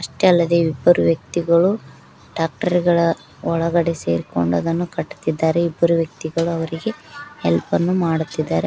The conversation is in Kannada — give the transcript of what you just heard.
ಅಷ್ಟೇ ಅಲ್ಲದೆ ಇಬ್ಬರು ವ್ಯಕ್ತಿಗಳು ಟ್ರ್ಯಾಕ್ಟರ್ ಗಳ ಒಳಗಡೆ ಸೇರಿಕೊಂಡು ಅದನ್ನು ಕಟ್ಟುತ್ತಿದ್ದಾರೆ ಇಬ್ಬರು ವ್ಯಕ್ತಿಗಳು ಅವರಿಗೆ ಹೆಲ್ಪ್ ಅನ್ನು ಮಾಡುತ್ತಿದ್ದಾರೆ.